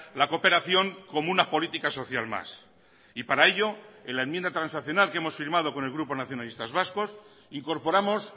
la cooperación como una política social más y para ello en la enmienda transaccional que hemos firmado con el grupo nacionalistas vascos incorporamos